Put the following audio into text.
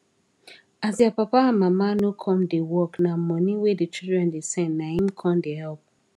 as dia papa and mama no come da work na money wey the children da send naim com da help